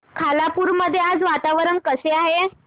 खालापूर मध्ये आज वातावरण कसे आहे